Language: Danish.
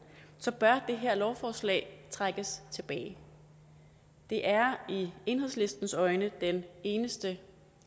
så bør det her lovforslag trækkes tilbage det er i enhedslistens øjne den eneste